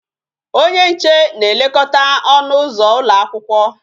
Onye nche na-elekọta ọnụ ụzọ ụlọ akwụkwọ